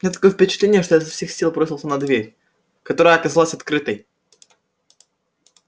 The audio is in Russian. у меня такое впечатление что я изо всех сил бросился на дверь которая оказалась открытой